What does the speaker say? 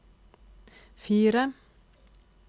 fire